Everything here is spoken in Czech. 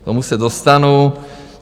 K tomu se dostanu.